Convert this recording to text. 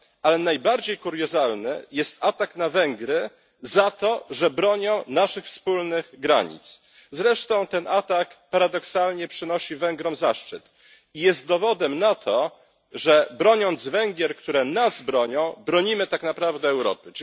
Ale najbardziej kuriozalny jest atak na Węgry za to, że bronią naszych wspólnych granic, zresztą ten atak paradoksalnie przynosi Węgrom zaszczyt i jest dowodem na to, że broniąc Węgier, które nas bronią, bronimy tak naprawdę Europy.